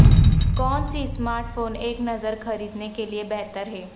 کون سی smart phone ایک نظر خریدنے کے لئے بہتر ہے